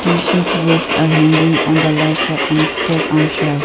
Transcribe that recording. t-shirt vest are hanging on the left side and stack on shelt.